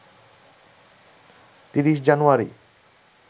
৩০ জানুয়ারি